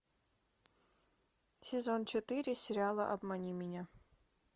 сезон четыре сериала обмани меня